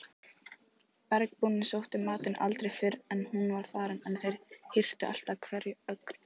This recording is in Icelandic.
Bergbúarnir sóttu matinn aldrei fyrr en hún var farin en þeir hirtu alltaf hverja ögn.